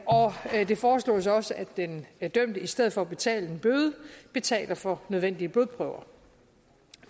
og det foreslås også at den dømte i stedet for at betale en bøde betaler for nødvendige blodprøver